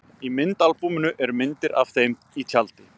Í myndaalbúminu eru myndir af þeim í tjaldi.